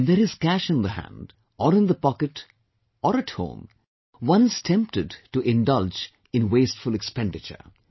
When there is cash in the hand, or in the pocket or at home, one is tempted to indulge in wasteful expenditure